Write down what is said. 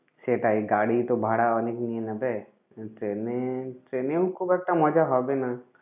সেটাই গাড়ি তো ভাড়া অনেক নেবে আর train এ train এও খুব একটা মজা হবে না।